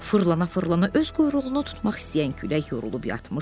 Fırlana-fırlana öz quyruğunu tutmaq istəyən külək yorulub yatmışdı.